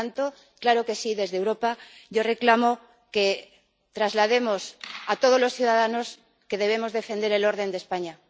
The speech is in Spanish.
Por tanto, claro que sí, desde Europa yo reclamo que traslademos a todos los ciudadanos que debemos defender el orden de España.